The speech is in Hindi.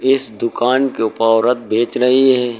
इस दुकान के औरत बेच रही है।